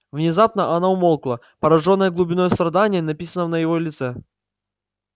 внезапно она умолкла поражённая глубиной страдания написанного на его лице